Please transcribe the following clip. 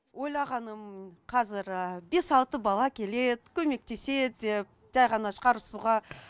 ойлағаным қазір бес алты бала келеді көмектеседі деп жай ғана шығарысуға